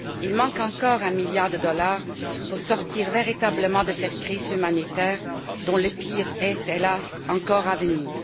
Il manque encore un milliard de dollars pour sortir véritablement de cette crise humanitaire dont le pire est, hélas, encore à venir.